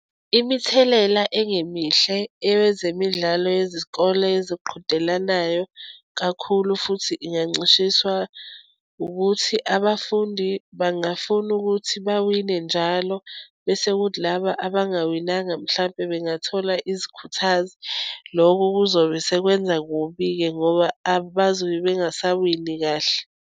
Imithelela engemihle eyezemidlalo yezikole eziqhudelanayo kakhulu futhi ingancishiswa ukuthi abafundi bangafuna ukuthi bawine njalo. Bese kuthi laba abangawinanga mhlampe bengathola izikhuthazi loko kuzobe sekwenza kubi-ke ngoba abazobe bengasawini kahle.